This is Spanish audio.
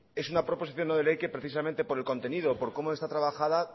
que precisamente por el contenido por cómo está trabajada